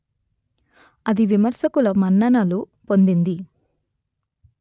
అది విమర్శకుల మన్ననలు పొందింది